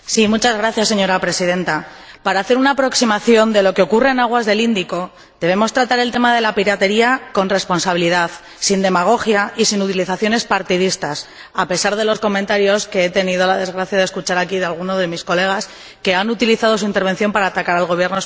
Señora Presidenta, para hacer una aproximación de lo que ocurre en aguas del Índico debemos tratar el tema de la piratería con responsabilidad, sin demagogia y sin utilizaciones partidistas, a pesar de los comentarios que he tenido la desgracia de escuchar aquí de alguno de mis colegas, que ha utilizado su intervención para atacar al Gobierno español.